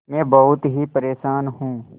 मैं बहुत ही परेशान हूँ